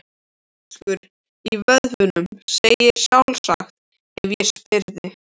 Fjörfiskur í vöðvunum, segðirðu sjálfsagt ef ég spyrði.